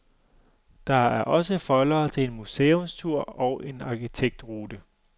Der er også foldere til en museumstur og en arkitektrute.